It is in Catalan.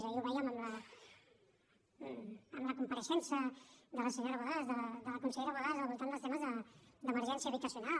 ahir ho veiem amb la compareixença de la senyora borràs de la consellera borràs al voltant dels temes d’emergència habitacional